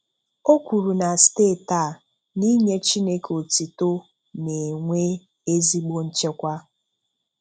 O kwuru na steeti a n'inye Chineke otito na-enwe ezigbo nchekwa